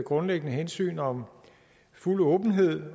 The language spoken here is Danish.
grundlæggende hensyn om fuld åbenhed